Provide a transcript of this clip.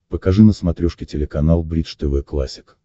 покажи на смотрешке телеканал бридж тв классик